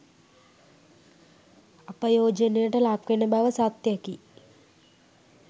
අපයෝජනයට ලක්වෙන බව සත්‍යයකි.